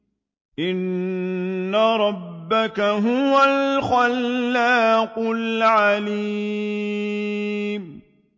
إِنَّ رَبَّكَ هُوَ الْخَلَّاقُ الْعَلِيمُ